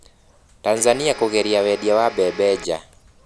Tanzania kũgiria wendia wa mbembe nja.